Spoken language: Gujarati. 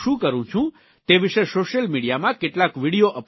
તે વિષે સોશિયલ મિડીયામાં કેટલાક વિડિયો અપલોડ કરીશ